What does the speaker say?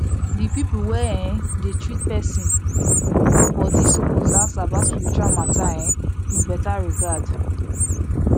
the people wey um dey treat person body suppose ask about spiritual matter um with better regard